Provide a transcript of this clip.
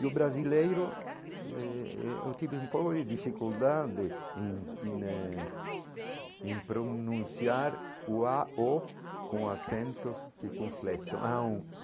E o brasileiro, eh eh eu tive um pouco de dificuldade em em eh em pronunciar o á ó com assentos circunflexos ão.